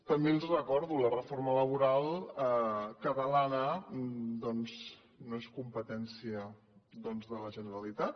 també els ho recordo la reforma laboral catalana doncs no és competència de la generalitat